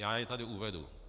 Já je tady uvedu.